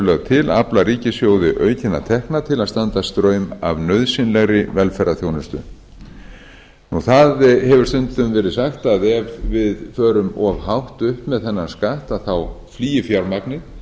lögð til afla ríkissjóði aukinna tekna til að standa straum af nauðsynlegri velferðarþjónustu það hefur stundum verið sagt að ef við förum of hátt upp með þennan skatt flýi fjármagnið